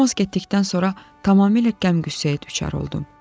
Romoz getdikdən sonra tamamilə qəm qüssəyə düçar oldum.